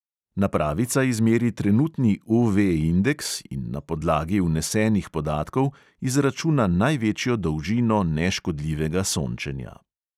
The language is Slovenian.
Napravica izmeri trenutni UV indeks in na podlagi vnesenih podatkov izračuna največjo dolžino neškodljivega sončenja.